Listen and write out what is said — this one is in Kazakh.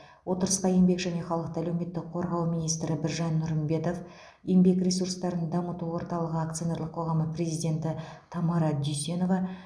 отырысқа еңбек және халықты әлеуметтік қорғау министрі біржан нұрымбетов еңбек ресурстарын дамыту орталығы акционерлік қоғамы президенті тамара дүйсенова